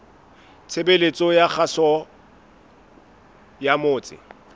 tshebeletso ya kgaso ya motse